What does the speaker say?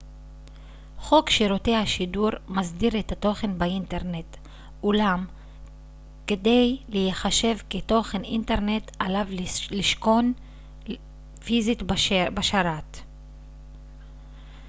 חוק שירותי השידור מסדיר את התוכן באינטרנט אולם כדי כדי להיחשב ככתוכן אינטרנט עליו לשכון פיזית בשרת